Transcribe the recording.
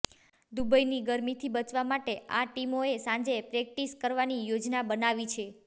દુબઈની ગરમીથી બચવા માટે આ ટીમોએ સાંજે પ્રેક્ટિસ કરવાની યોજના બનાવી છે